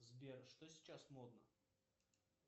сбер что сейчас модно